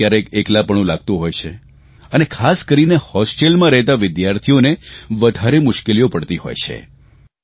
કયારેકકયારેક એકલાપણું લાગતું હોય છે અને ખાસ કરીને હોસ્ટેલમાં રહેતા વિદ્યાર્થીઓને વધારે મુશ્કેલીઓ પડતી હોય છે